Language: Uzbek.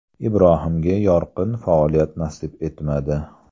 Ibrohimga yorqin faoliyat nasib etmadi.